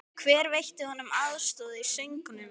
Hver veitti honum aðstoð í söngnum?